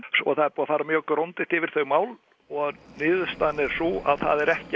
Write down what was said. og það er búið að fara mjög grundigt yfir þau mál og niðurstaðan er sú að það er ekki